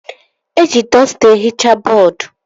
Eji dọsta ehichaa bọọdu